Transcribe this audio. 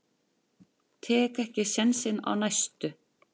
Tek ekki sénsinn á næstu.